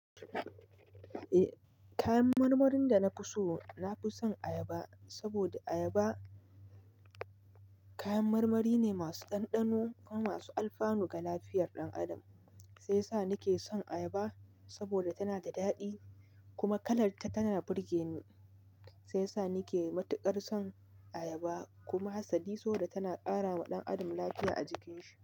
Eh kayan marmarin da na fi so, na fi son ayaba saboda ayaba kayan marmari ne masu ɗanɗano kuma masu alfanu ga lafiyar ɗan adam. Sai sa ni ke son ayaba saboda tana da daɗi kuma kalar ta tana burge ni. Sai sa ni ke matuƙar son ayaba kuma hassadi sosai tana ƙara wa ɗan adam lafiya a jikin shi.